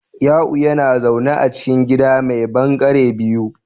Ya'u yana zaune a cikin gida mai ɓangare biyu